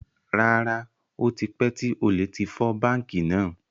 Rárá, ó tipẹ́ tí olè tí fọ́ báńkì náà.